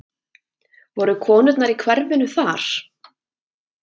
Voru konurnar í hverfinu þar?